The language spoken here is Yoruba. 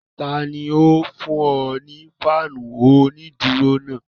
Tani ó fún ọ ní fáànù onídùúró náà?